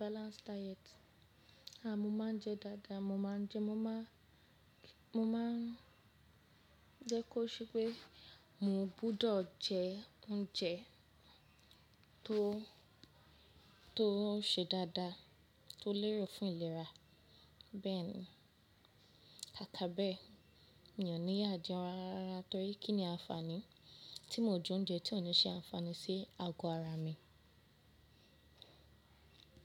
balanced diet. Mo máa ń jẹ dáadáa, mo máa ń jẹ, mo maa n-- mo máa ń jẹ́ kó ṣe pé mo gbúdọ̀ jẹ oúnjẹ tó n ṣe dáadáa tó lérò fún ìlera. Bẹ́ẹ̀ ni, kaka bẹ́ẹ̀ mi ò ní yà jẹun rárárarà torí kí ni àǹfààní tí mo jẹ oúnjẹ tí ò ní ṣe àǹfààní sí ago ara mi.